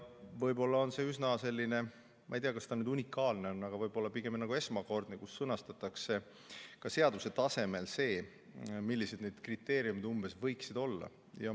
Ma ei tea, kas see nüüd unikaalne on, aga võib-olla on see esmakordne, et sõnastatakse ka seaduse tasemel see, millised need kriteeriumid umbes võiksid olla.